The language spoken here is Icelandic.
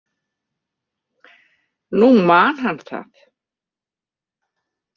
Nú man hann það.